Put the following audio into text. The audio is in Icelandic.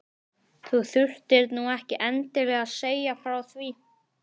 Þú þurftir nú ekki endilega að segja frá því